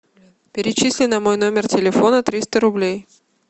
перечисли на мой номер телефона триста рублей